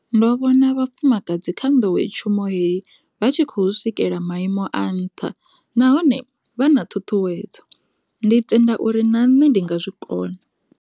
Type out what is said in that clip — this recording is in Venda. Ndo vhona vhafumakadzi kha nḓowetshumo heyi vha tshi khou swikela maimo a nṱha nahone vha na ṱhuṱhuwedzo. Ndi tenda uri na nṋe ndi nga zwi kona.